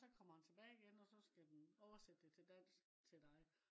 også kommer den tilbage igen også skal den oversætte det til dansk til dig